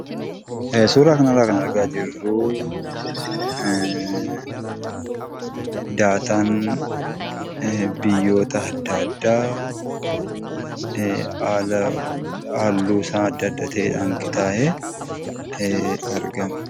Suuraa kana irra kan arga jiruu, dataan biyyoota adda addaa haaluunsa adda addaa ta'een qixa'ee argama.